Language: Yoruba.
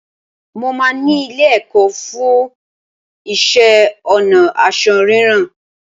Mo máa ni ilé-ẹ̀kọ́ fú iṣẹ́-ọnà ásọ rírán